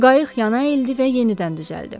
Qayıq yana əyildi və yenidən düzəldin.